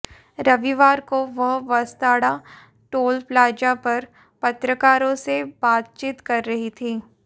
रविवार को वह बसताड़ा टोल प्लाजा पर पत्रकारों से बातचीत कर रही थी